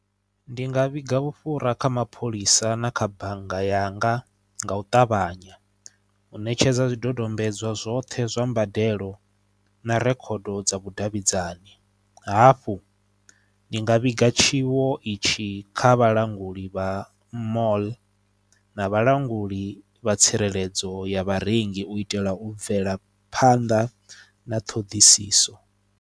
Ndi nga vhiga vhufhura kha mapholisa na kha bannga yanga nga u ṱavhanya u ṋetshedza zwidodombedzwa zwoṱhe zwa mbadelo na rekhodo dza vhudavhidzani hafhu ndi nga vhiga tshiwo itshi kha vhalanguli vha mall na vhalanguli vha tsireledzo ya vharengi u itela u bvela phanḓa na ṱhoḓisiso.